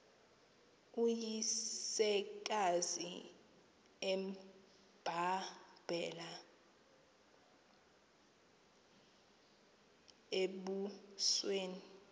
uyisekazi embambele embusweni